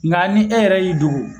Nka ni e yɛrɛ y'i dogo